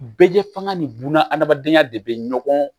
Bɛɛ fanga ni buna adamadenya de bɛ ɲɔgɔn